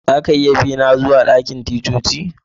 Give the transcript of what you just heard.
Za ka iya bi ni zuwa dakin ticcoci?